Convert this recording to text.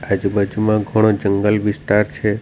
આજુબાજુમાં ઘણો જંગલ વિસ્તાર છે.